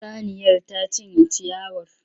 Saniyar ta cinye ciyawar.